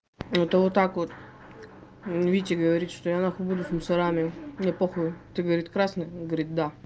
ну та вот так вот витя говорит что я нахуй буду с мусорами мне похую ты говорит красный он говорит да